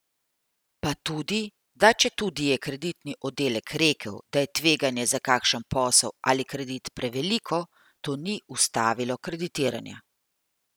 Pa tudi, da četudi je kreditni oddelek rekel, da je tveganje za kakšen posel ali kredit preveliko, to ni ustavilo kreditiranja.